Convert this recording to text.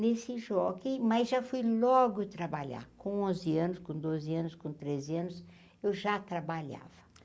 Nesse, mas já fui logo trabalhar, com onze anos, com doze anos, com treze anos, eu já trabalhava.